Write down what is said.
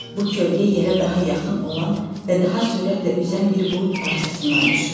Bu kölgə yerə daha yaxın olan və daha sürətlə üzən bir bulud parçasından düşürdü.